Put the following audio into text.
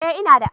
Eh ina da.